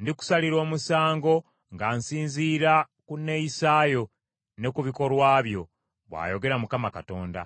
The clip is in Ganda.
Ndikusalira omusango nga nsinziira ku neeyisaayo ne ku bikolwa byo, bw’ayogera Mukama Katonda.’ ”